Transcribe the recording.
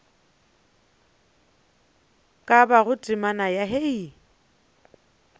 ka bago temana ya hei